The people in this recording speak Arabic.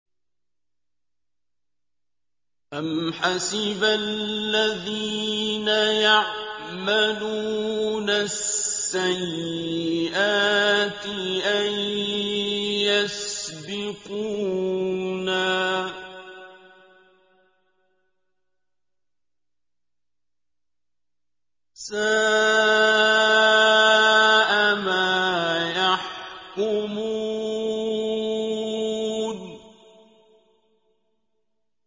أَمْ حَسِبَ الَّذِينَ يَعْمَلُونَ السَّيِّئَاتِ أَن يَسْبِقُونَا ۚ سَاءَ مَا يَحْكُمُونَ